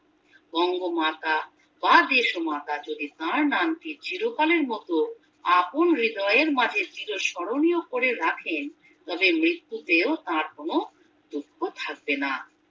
বঙ্গমাতা বা দেশমাতা যদি তার নামটি চিরকালের মতো আপন হৃদয়ের মাঝে চিরস্মরণীয় করে রাখেন তবে মৃত্যুতেও তার কোনো দুঃখ থাকবে না